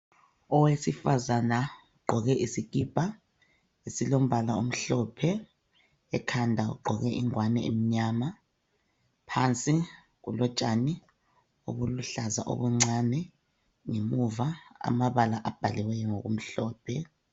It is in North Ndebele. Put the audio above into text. Owesifaza uqgoke isikipa silombala omhlophe ekhanda ugqoke ingwane emnyana phansi kulotshani obuluhlaza obuncane ngemuva amabala abhaliweyo ngokumhlophe.